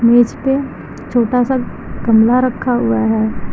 मेज पे छोटा सा गमला रखा हुआ है।